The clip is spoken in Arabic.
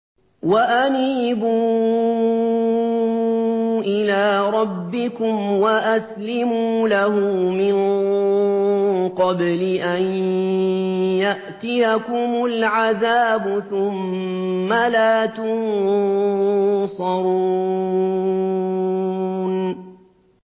وَأَنِيبُوا إِلَىٰ رَبِّكُمْ وَأَسْلِمُوا لَهُ مِن قَبْلِ أَن يَأْتِيَكُمُ الْعَذَابُ ثُمَّ لَا تُنصَرُونَ